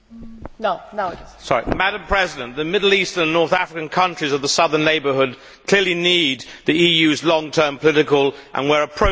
Madam President, the Middle East and North African countries of the Southern Neighbourhood clearly need the EU's long term political and where appropriate financial support.